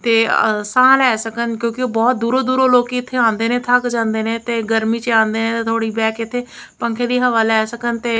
ਤੇ ਅ ਸਾਹ ਲੈ ਸਕਣ ਕਿਉਂਕਿ ਉਹ ਬਹੁਤ ਦੂਰੋ ਦੂਰੋ ਲੋਕੀਂ ਇੱਥੇ ਆਂਦੇ ਨੇ ਥੱਕ ਜਾਂਦੇ ਨੇ ਤੇ ਗਰਮੀ ਚ ਆਂਦੇ ਨੇ ਤੇ ਥੋੜ੍ਹੀ ਬੈਹ ਕੇ ਇੱਥੇ ਪੰਖੇ ਦੀ ਹਵਾ ਲੈ ਸਕਣ ਤੇ--